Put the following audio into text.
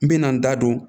N bɛna n da don